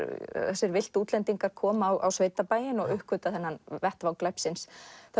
þessir villtu útlendingar koma á sveitabæinn og uppgötva þennan vettvang glæpsins